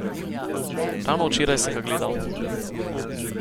Ravno včeraj sem ga gledal.